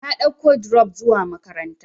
Na ɗauka dirop zuwa makaranta.